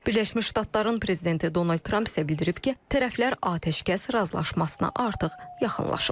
Birləşmiş Ştatların prezidenti Donald Tramp isə bildirib ki, tərəflər atəşkəs razılaşmasına artıq yaxınlaşıb.